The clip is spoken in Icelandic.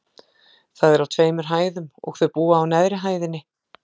Það er á tveimur hæðum, og þau búa á neðri hæðinni.